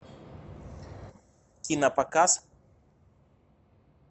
кинопоказ